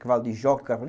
Cavalo de joca.